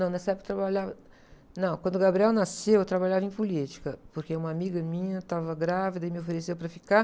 Não, nessa época eu trabalhava... Não, quando o nasceu, eu trabalhava em política, porque uma amiga minha estava grávida e me ofereceu para ficar.